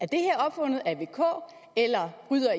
det her opfundet af vk eller bryder